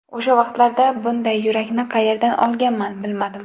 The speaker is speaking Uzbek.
O‘sha vaqtlarda bunday yurakni qayerdan olganman, bilmadim.